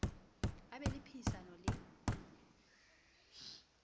a be le phehisano le